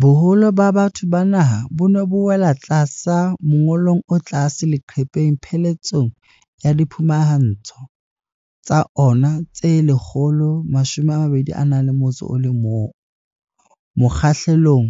Boholo ba batho ba naha bo ne bo wela tlasa mongolong o tlase leqepheng pheletsong ya diphumantsho tsa ona tse 121, mokgahlelong